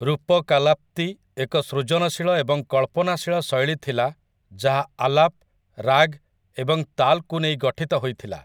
ରୂପକାଲାପ୍ତି ଏକ ସୃଜନଶୀଳ ଏବଂ କଳ୍ପନାଶୀଳ ଶୈଳୀ ଥିଲା ଯାହା ଆଲାପ୍, ରାଗ୍, ଏବଂ ତାଲ୍‌କୁ ନେଇ ଗଠିତ ହୋଇଥିଲା ।